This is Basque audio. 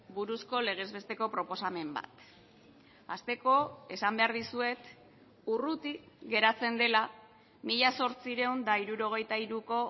buruzko legez besteko proposamen bat hasteko esan behar dizuet urruti geratzen dela mila zortziehun eta hirurogeita hiruko